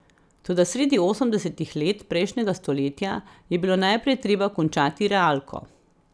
Toda sredi osemdesetih let prejšnjega stoletja je bilo najprej treba končati realko.